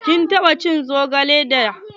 Kin taɓa cin zogale da?